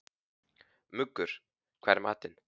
Muggur, hvað er í matinn?